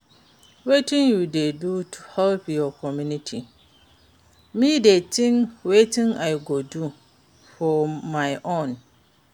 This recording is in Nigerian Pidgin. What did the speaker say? Wetin you dey do to help your community, me dey think wetin i go do for my own.